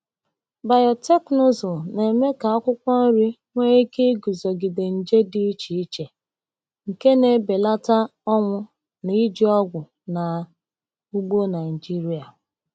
Biotekịnụzụ na-eme ka akwụkwọ nri nwee ike iguzogide nje dị iche iche, nke na-ebelata ọnwụ na iji ọgwụ na ugbo Naijiria.